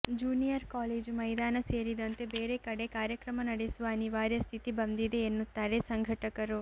junior college ಮೈದಾನ ಸೇರಿದಂತೆ ಬೇರೆ ಕಡೆ ಕಾರ್ಯಕ್ರಮ ನಡೆಸುವ ಅನಿವಾರ್ಯ ಸ್ಥಿತಿ ಬಂದಿದೆ ಎನ್ನುತ್ತಾರೆ ಸಂಘಟಕರು